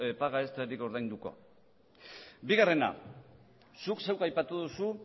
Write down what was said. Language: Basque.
paga extrarik ordainduko bigarrena zuk zeuk aipatu duzu